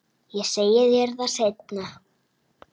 Ég segi þér það seinna.